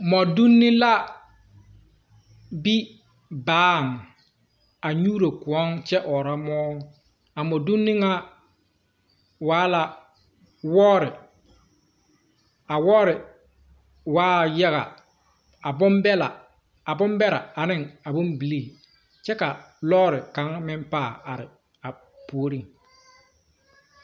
Modonne la be baa a nyuuro koun kye ɔɔra mou a modunni nga waa la wɔɔre a wɔɔre waa yaga a bun bela a bun bere a ning a bung bilii kye ka loɔri kanga meng paa arẽ a pouring.